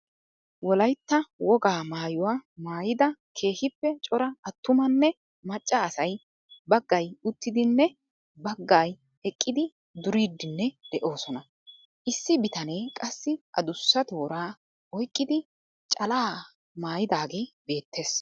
Wolaytta wogaa maayuwa maayida keehiippe cora atumanne macca asay bagay uttidinne bagga eqqidi duriidinne de'oosonna. Issi bitanee qassi adussa tooraa oyqqidi calaa mayidaagee beettees.